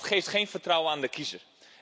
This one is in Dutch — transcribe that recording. Dat geeft geen vertrouwen aan de kiezer.